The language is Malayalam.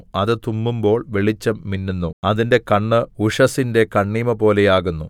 അത് തുമ്മുമ്പോൾ വെളിച്ചം മിന്നുന്നു അതിന്റെ കണ്ണ് ഉഷസ്സിന്റെ കണ്ണിമപോലെ ആകുന്നു